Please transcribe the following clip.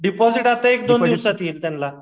deposit आता एक दोन दिवसात येईल त्यांला